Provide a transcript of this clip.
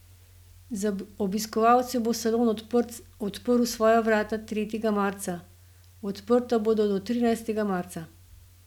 Za obiskovalce bo salon odprl svoja vrata tretjega marca, odprta bodo do trinajstega marca.